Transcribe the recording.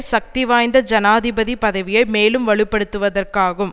சக்திவாய்ந்த ஜனாதிபதி பதவியை மேலும் வலுப்படுத்துவதற்காகும்